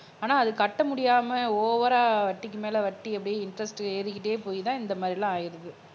ஆனா அது கட்ட முடியாம ஓவரா வட்டிக்கு மேல வட்டி அப்படியே இன்ட்ரெஸ்ட் ஏறிக்கிட்டே போய்தான் இந்த மாதிரி எல்லாம் ஆயிடுது